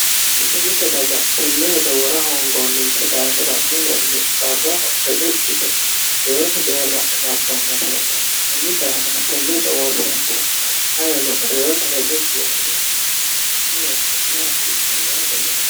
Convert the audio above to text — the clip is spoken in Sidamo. mite mite daga tenne hedo wora hoongoonninsi daafira mulenni qarraho reqecci yite reyote deerra martannora heedhanno kunni daafira tenne hedoworreekira ayino reyote reqecci yaannai dafira hedo worte la"a hasiissannote moote